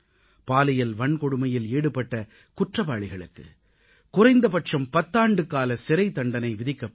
பாலியல் வன்கொடுமையில் ஈடுபட்ட குற்றவாளிகளுக்கு குறைந்தபட்சம் 10 ஆண்டுகால சிறைத் தண்டனை விதிக்கப்படும்